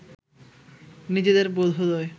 নিজেদের বোধোদয়